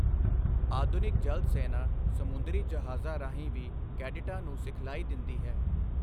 ਆਧੁਨਿਕ ਜਲ ਸੈਨਾ ਸਮੁੰਦਰੀ ਜਹਾਜ਼ਾਂ ਰਾਹੀਂ ਵੀ ਕੈਡਿਟਾਂ ਨੂੰ ਸਿਖਲਾਈ ਦਿੰਦੀ ਹੈ।